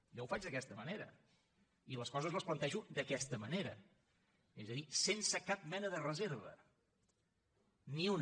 jo ho faig d’aquesta manera i les coses les plantejo d’aquesta manera és a dir sense cap mena de reserva ni una